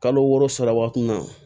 Kalo wɔɔrɔ sara waati min na